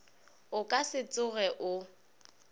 o ka se tsoge o